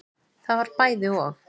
Það var bæði og.